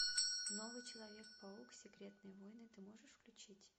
новый человек паук секретные войны ты можешь включить